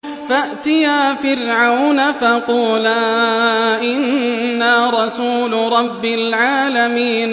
فَأْتِيَا فِرْعَوْنَ فَقُولَا إِنَّا رَسُولُ رَبِّ الْعَالَمِينَ